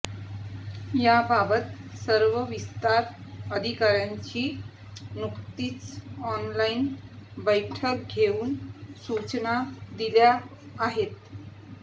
याबाबत सर्व विस्तार अधिकाऱ्यांची नुकतीच ऑनलाइन बैठक घेऊन सूचना दिल्या आहेत